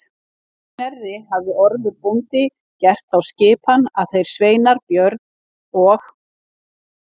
Að Knerri hafði Ormur bóndi gert þá skipan að þeir sveinar Björn og